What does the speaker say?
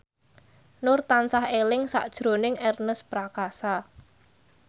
Nur tansah eling sakjroning Ernest Prakasa